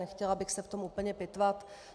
Nechtěla bych se v tom úplně pitvat.